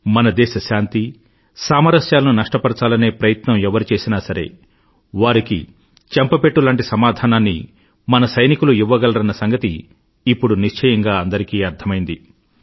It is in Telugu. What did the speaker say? మన దేశ శాంతి సామరస్యాలను నష్టపరచాలనే ప్రయత్నం ఎవరు చేసినా సరే వారికి చెంపపెట్టు లాంటి సమాధానాన్ని మన సైనికులు ఇవ్వగలరన్న సంగతి ఇప్పుడు నిశ్చయంగా అందరికీ అర్ధమైంది